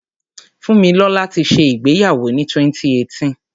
Fúnmilọ́là ti ṣẹ ìgbéyàwó ni 2018.